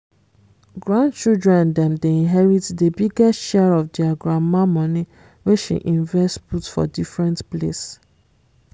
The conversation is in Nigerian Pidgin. grand children dem dey inherit the biggest share of their grandma money wey she invest put for different place